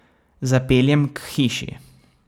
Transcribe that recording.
Zapeljem k hiši.